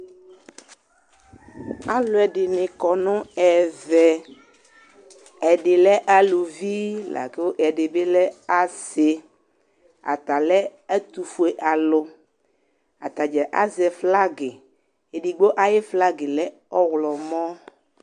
Alʋɛdɩnɩ kɔ nʋ ɛvɛ : ɛdɩ lɛ aluvi , lakʋ ɛdɩ bɩ lɛ asɩ Ata lɛ ɛtʋfue alʋ; atadza azɛ flagɩ ; edigbo ayʋ flagɩ lɛ ɔɣlɔmɔ